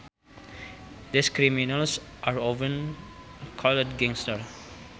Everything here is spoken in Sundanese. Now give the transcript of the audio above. These criminals are often called gangsters